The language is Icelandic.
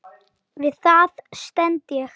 Við það stend ég.